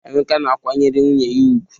Emeka na-akwanyere nwunye ya ugwu.